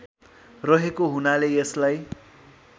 रहेको हुनाले यसलाई